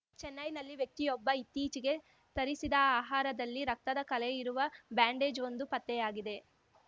ಚೆನ್ನೈನಲ್ಲಿ ವ್ಯಕ್ತಿಯೊಬ್ಬ ಇತ್ತೀಚಿಗೆ ತರಿಸಿದ ಆಹಾರದಲ್ಲಿ ರಕ್ತದ ಕಲೆ ಇರುವ ಬ್ಯಾಂಡೇಜ್‌ವೊಂದು ಪತ್ತೆಯಾಗಿದೆ